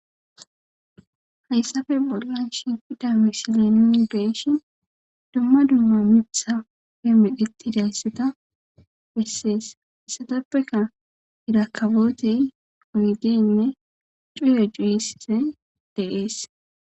Hayssape bollan shiqida misileni nun beeshi dumma dumma mittha he midhettidayssata bessees issatappeka irakabootey oydeynne cuyo cuyise deees.